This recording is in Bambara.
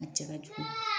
A jala cogo di